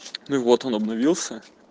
ну и вот он обновился